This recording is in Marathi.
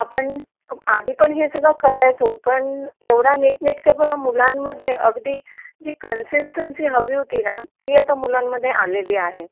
आपण खूप आधी पण हे सगळं करायचो पण एवढं नीट नेटकेपणा मुलांमध्ये अगदी जी कनसिसटंसी हवी होती ंना ती आता मुलं मध्ये आलेली आहे